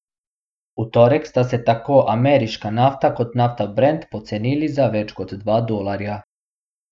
V torek sta se tako ameriška nafta kot nafta brent pocenili za več kot dva dolarja.